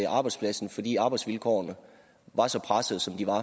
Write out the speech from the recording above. arbejdspladsen fordi arbejdsvilkårene var så pressede som de var